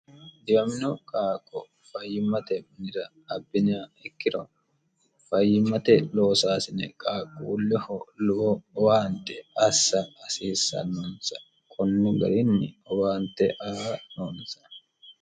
diwamino qaaqo fayyimmate minira abbinha ikkiro fayyimmate loosaasine qaaqquulleho lowo owaante assa hasiissannoonsa konni garinni owaante aa noonsa